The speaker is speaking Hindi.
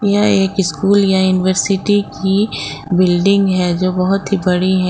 एक स्कूल या यूनिवर्सिटी की बिल्डिंग है जो बहुत ही बड़ी है।